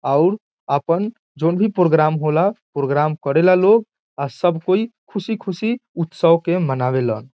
और अपन जोन भी प्रोग्राम होला प्रोग्राम करेला लोग आ सब कोई खुशी-खुशी उत्सव के मनावे ला।